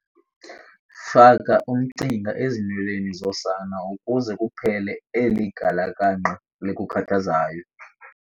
Faka umcinga ezinweleni zosana ukuze kuphele eli galakangqa likukhathazayo.